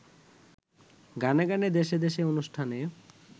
গানে গানে দেশে দেশে অনুষ্ঠানে